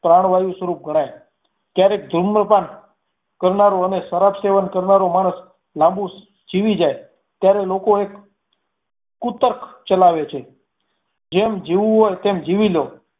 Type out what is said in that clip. પ્રાણવાયુ સ્વરૂપ ગણાય જ્યારે ધૂમ્રપાન કરનારો અને શરાબ સેવન કરનારો માણસ લાંબું જીવી જાય ત્યારે લોકો એક કુતર્ક ચલાવે છે, જેમ જીવવું હોય તેમ જીવી લો.